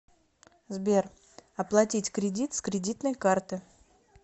сбер оплатить кредит с кредитной карты